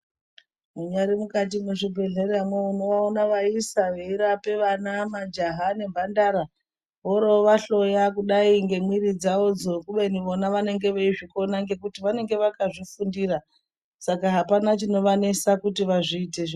Mungari mukati mwezvibhedhlera mwo unoona vayisa veirapa vana, majaha , nemhandara worovahloya kudai ngemwiri dzavo dzo kubeni vona vanenge veizvikona ngekuti vanenge vakazvifundira saka apana chinovanesa kuti vazviite .